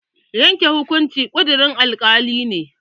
Yanke hukunci ƙudurin alkali ne